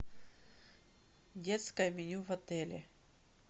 детское меню в отеле